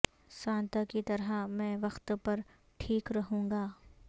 Santa کی طرح میں وقت پر ٹھیک رہوں گا